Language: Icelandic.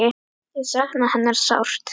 Ég sakna hennar sárt.